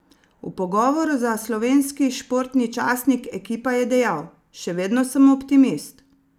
V pogovoru za slovenski športni časnik Ekipa je dejal: "Še vedno sem optimist.